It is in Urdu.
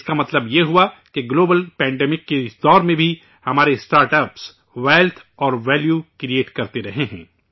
اس کا مطلب یہ ہوا کہ عالمی وبا کے اس دور میں بھی ہمارے اسٹارٹ اپس، ویلتھ اور ویلیو کریٹ کرتے رہے ہیں